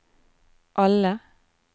alle